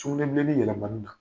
Sugunɛbilennin yɛlɛmani na.